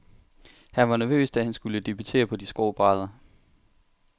Han var nervøs, da han skulle debutere på de skrå brædder.